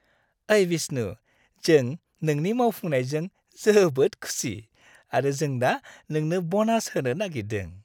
ओइ विष्णु, जों नोंनि मावफुंनायजों जोबोद खुसि आरो जों दा नोंनो ब'नास होनो नागिरदों।